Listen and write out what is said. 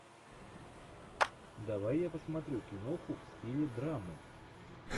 давай я посмотрю киноху в стиле драмы